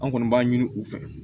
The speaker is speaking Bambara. An kɔni b'a ɲini u fɛ